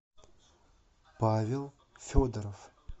павел федоров